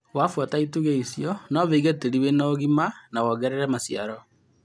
Wabuata itugĩ ici nowĩege tĩri na ũgima na wongerere maciaro.